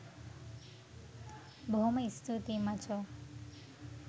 බොහොම ස්තුතියි මචො